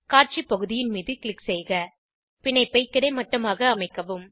காட்சி பகுதியின் மீது க்ளிக் செய்க பிணைப்பை கிடைமட்டமாக அமைக்கவும்